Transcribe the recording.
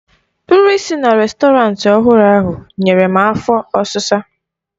Nri si na rèstọrantị ọhụrụ ahụ nyere m afo ọsisa